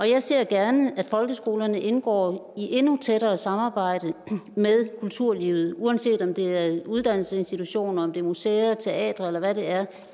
jeg ser gerne at folkeskolerne indgår i et endnu tættere samarbejde med kulturlivet uanset om det er uddannelsesinstitutioner om det er museer teatre eller hvad det er